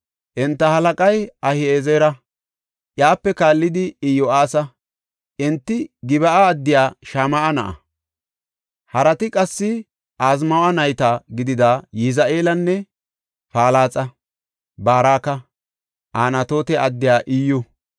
Enta halaqay Ahi7ezera; iyape kaallidi Iyo7aasa; enti Gib7a addiya Shama7a na7a. Harati qassi Azmaawe nayta gidida Yizi7eelanne Palaxa, Baraka, Anatoote addiya Iyyu,